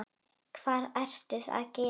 Hvað ert þú að gera?